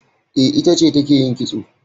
E, ita ce take yin kitso kitso.